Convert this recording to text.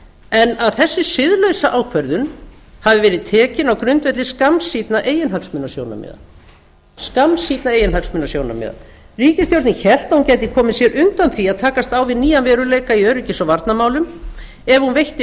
en að þessi siðlausa ákvörðun hafi verið tekin á grundvelli skammsýnna eiginhagsmunasjónarmiða ríkisstjórnin hélt að hún gæti komið sér undan því að takast á við nýjan veruleika í öryggis og varnarmálum ef hún veitti